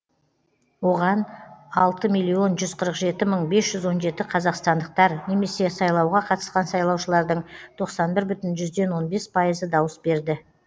оған алты миллион жүз қырық жеті мың бес жүз он жеті қазақстандықтар немесе сайлауға қатысқан сайлаушылардың тоқсан бір бүтін жүзден он бес пайыз дауыс берді